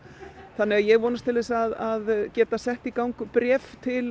þannig að ég vonast til að geta sett í gang bréf til